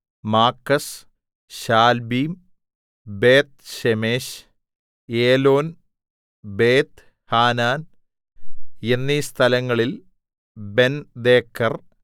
മാക്കസ് Shaalbim Beth Shemesh Elon Beth Hanan എന്നീ സ്ഥലങ്ങളിൽ Bendeker